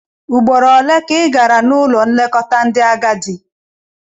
Ugboro ole ka ị gara n'ụlọ nlekọta ndị agadi?